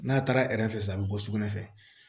N'a taara fɛ sisan a bi bɔ sugunɛ fɛ